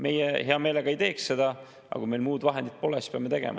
Meie hea meelega ei teeks seda, aga kui meil muud vahendit pole, siis peame tegema.